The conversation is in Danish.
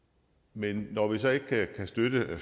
men når vi så alligevel ikke kan støtte